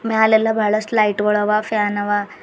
ಮ್ಯಾಲೆಲ್ಲ ಬಹಳಸ್ಟ್ ಲೈಟ್ ಗುಳ ಅವ ಫ್ಯಾನ್ ಅವ.